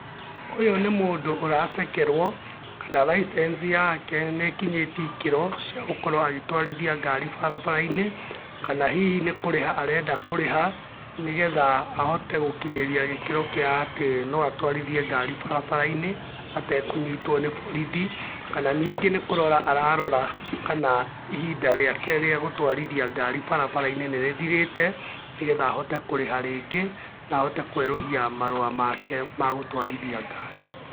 Ũyũ nĩ mũndũ ũracekerũo, kana license yake nĩkinyĩtĩe ikĩro, cia gũkorũo agĩtwarithia ngari barabara-inĩ, kana hihi nĩ kũrĩha arenda kũrĩha, nĩgetha ahote gũkinyĩria gĩkĩro kĩa atĩ no atwarithie ngari barabara-inĩ, atekũnyitũo nĩ borothi, kana ningĩ nĩ kũrora ararora kana, ihinda rĩake rĩa gũtwarithia ngari barabara-inĩ nĩrĩthirĩte, nĩgetha ahote kũrĩha rĩngĩ, na ahote kũerũhia marũa make ma gũtũarithia ngari.